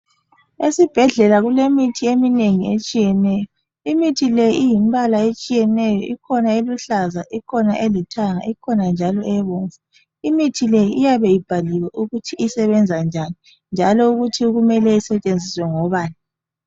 Esibhedlela kulemithi eminengi etshiyeneyo imithi le iyimbala etshiyeneyo ikhona eluhlaza, ikhona elithanga ikhona njalo ebomvu. Imithi le iyabe ibhaliwe ukuthi isebenza njani njalo ukuthi kumele isetshenziswe ngobani.